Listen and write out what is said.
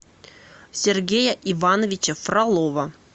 сергея ивановича фролова